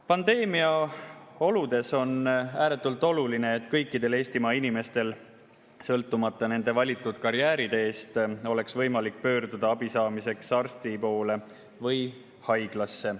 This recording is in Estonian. Pandeemia oludes on ääretult oluline, et kõikidel Eestimaa inimestel, sõltumata nende valitud karjääriteest, oleks võimalik pöörduda abi saamiseks arsti poole või haiglasse.